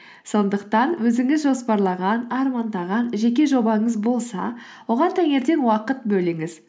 сондықтан өзіңіз жоспарлаған армандаған жеке жобаңыз болса оған таңертең уақыт бөліңіз